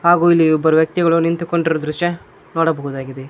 ಹಾಗು ಇಲ್ಲಿ ಇಬ್ಬರು ವ್ಯಕ್ತಿಗಳು ನಿಂತುಕೊಂಡಿರುವ ದೃಶ್ಯ ನೋಡಬಹುದಾಗಿದೆ.